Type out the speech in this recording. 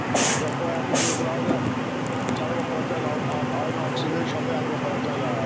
Boyamışıq, bunları da gəlib aparacaqlar ayın altısında inşallah gəlib aparacaqlar.